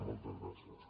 moltes gràcies